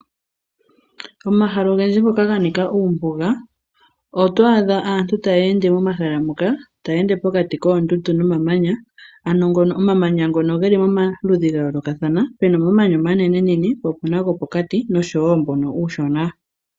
Omahal' ogendji ngoka ga nika uumbuga, oto adha aantu ta yeende momahala muka tayeende pokati koondundu nomamanya ano ngono omamanya geli momaludhi ga yoolokathana pena omamanya omanenenene po opuna gopokati nosho wo mbono uushona.